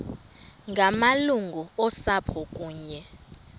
ngamalungu osapho kunye